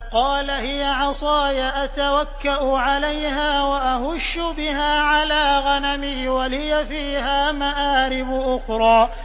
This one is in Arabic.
قَالَ هِيَ عَصَايَ أَتَوَكَّأُ عَلَيْهَا وَأَهُشُّ بِهَا عَلَىٰ غَنَمِي وَلِيَ فِيهَا مَآرِبُ أُخْرَىٰ